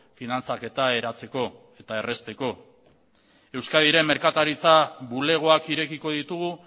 finantzaketa eratzeko eta errazteko euskadiren merkataritza bulegoak irekiko ditugu